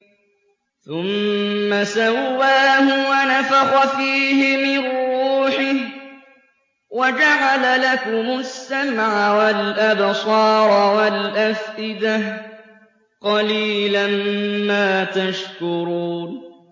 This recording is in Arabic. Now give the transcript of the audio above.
ثُمَّ سَوَّاهُ وَنَفَخَ فِيهِ مِن رُّوحِهِ ۖ وَجَعَلَ لَكُمُ السَّمْعَ وَالْأَبْصَارَ وَالْأَفْئِدَةَ ۚ قَلِيلًا مَّا تَشْكُرُونَ